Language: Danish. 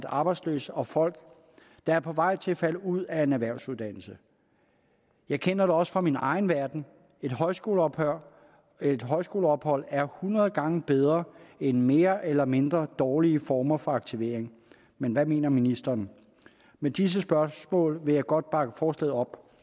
arbejdsløse og folk der er på vej til at falde ud af en erhvervsuddannelse jeg kender det også fra min egen verden et højskoleophold et højskoleophold er hundrede gange bedre end mere eller mindre dårlige former for aktivering men hvad mener ministeren med disse spørgsmål vil jeg godt bakke forslaget op